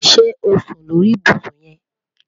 Ṣe o sun lori ibusun yẹn?